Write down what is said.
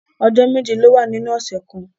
Ọjọ́ méje ló wà nínú ọ̀sẹ̀ kan.